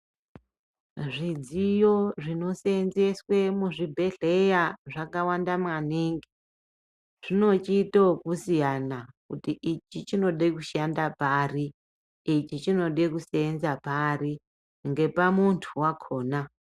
Zvidziyo zvinoseenzeswe muzvibhehleya zvakawanda maningi zvinochiitoku siyana kuti ichi chinode kushanda pari ichi chinode kuseenza pari ngepa muntu wakona